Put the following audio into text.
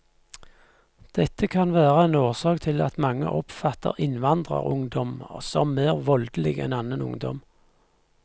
Dette kan være en årsak til at mange oppfatter innvandrerungdom som mer voldelig enn annen ungdom.